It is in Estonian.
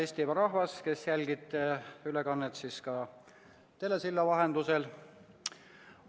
Hea Eestimaa rahvas, kes jälgib ülekannet telesilla vahendusel!